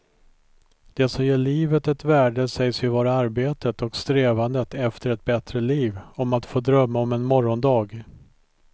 Det som ger livet ett värde sägs ju vara arbetet och strävandet efter ett bättre liv, om att få drömma om en morgondag.